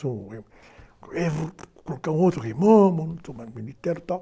eu vou colocar um outro rei momo, não sou mais e tal.